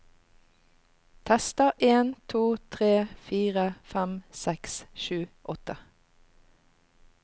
Tester en to tre fire fem seks sju åtte